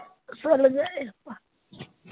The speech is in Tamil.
சொல்லுங்க